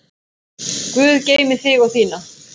Guð geymi þig og þína.